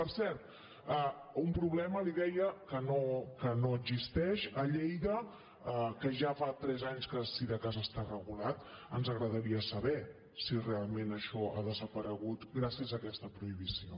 per cert un problema li deia que no existeix a lleida que ja fa fres anys que si de cas està regulat ens agradaria saber si realment això ha desaparegut gràcies a aquesta prohibició